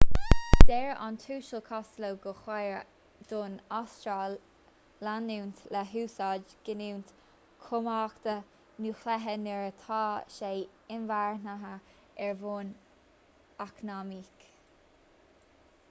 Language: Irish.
deir an tuasal costello gur chóir don astráil leanúint le húsáid giniúint cumhachta núicléiche nuair atá sé inmharthana ar bhonn eacnamaíoch